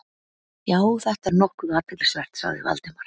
Já, þetta er nokkuð athyglisvert- sagði Valdimar.